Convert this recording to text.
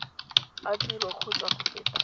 a tiro kgotsa go feta